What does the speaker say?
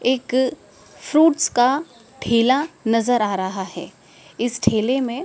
एक फ्रुट्स का ठेला नजर आ रहा है इस ठेले में--